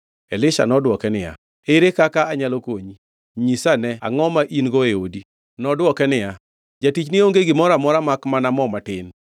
Elisha nodwoke niya, “Ere kaka anyalo konyi? Nyisa ane angʼo ma in-go e odi?” Nodwoke niya, “Jatichni onge gimoro amora makmana mo matin.”